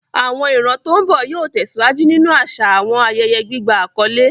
Àwọn ìran tó ń bọ̀ yóò tẹ̀síwájú nínú àṣà àwọn ayẹyẹ gbígba àkọ́lé.